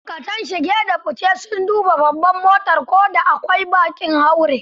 Ma'aikatan shige da fice sun duba babbar motar ko da akwai baƙin haure.